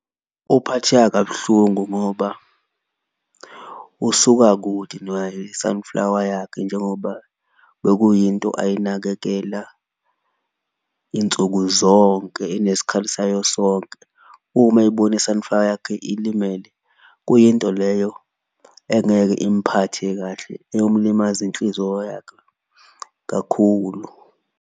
Uphatheka kabuhlungu ngoba usuka kude i-sunflower yakhe njengoba bekuyinto ayinakekela insuku zonke, enesikhathi sayo sonke. Uma ebona i-sunflower yakhe ilimele kuyinto leyo engeke imphathe kahle, eyomlimaza inhliziyo yakhe kakhulu.